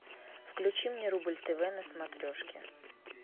включи мне рубль тв на смотрежке